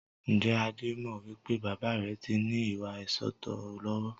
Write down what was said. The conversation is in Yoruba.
Ǹjẹ́ Adé mọ wípé baba rẹ tí ní ìwà ìsootọ́ lọ́wọ́?